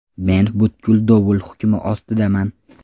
Men butkul dovul hukmi ostidaman.